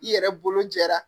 I yɛrɛ bolo jɛra